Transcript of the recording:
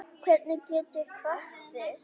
Hvernig get ég kvatt þig?